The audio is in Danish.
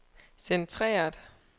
centreret